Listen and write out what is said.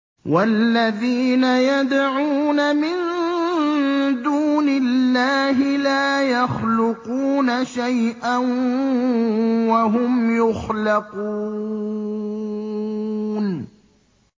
وَالَّذِينَ يَدْعُونَ مِن دُونِ اللَّهِ لَا يَخْلُقُونَ شَيْئًا وَهُمْ يُخْلَقُونَ